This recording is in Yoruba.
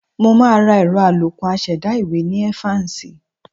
Mo máa ra ẹ̀rọ àlòkù aṣẹ̀dá ìwé ní Evans